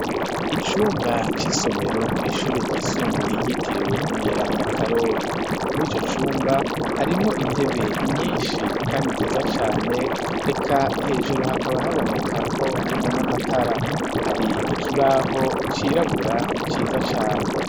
Icumba c'isomero kw'ishure ryisumbuye ryitiriwe umweranda Karori muri iyo cumba harimwo intebe nyishi kandi nziza cane reka hejuru hakaba haboneka ko harimwo n'amatara hari n'ikibaho cirabura ciza cane.